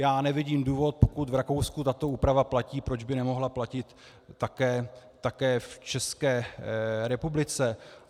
Já nevidím důvod, pokud v Rakousku tato úprava platí, proč by nemohla platit také v České republice.